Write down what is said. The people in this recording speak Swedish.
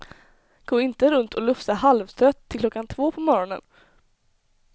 Gå inte runt och lufsa halvtrött till klockan två på morgonen.